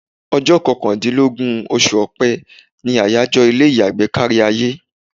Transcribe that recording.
Ọjọ́ kọkàndínlógún oṣù Ọ̀pẹ ni àyájọ́ ilé ìyàgbẹ́ kárí ayé.